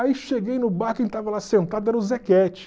Aí cheguei no bar, quem tava lá sentado era o Zequete.